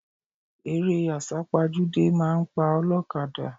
Eré àsápajúdé máa pa ọlọ́kadà.